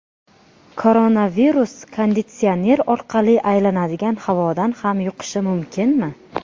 Koronavirus konditsioner orqali aylanadigan havodan ham yuqishi mumkinmi?